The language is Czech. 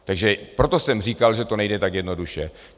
Takže proto jsem říkal, že to nejde tak jednoduše.